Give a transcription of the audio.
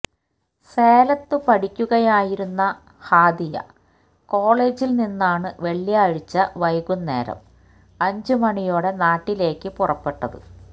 സേലത്ത് പഠിക്കുകയായിരുന്ന ഹാദിയ കോളേജില് നിന്നാണ് വെള്ളിയാഴ്ച വൈകുന്നേരം അഞ്ചുമണിയോടെ നാട്ടിലേക്ക് പുറപ്പെട്ടത്